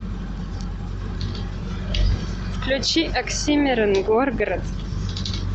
включи оксимирон горгород